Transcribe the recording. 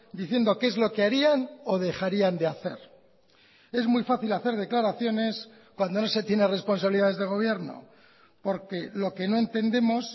diciendo qué es lo que harían o dejarían de hacer es muy fácil hacer declaraciones cuando no se tiene responsabilidades de gobierno porque lo que no entendemos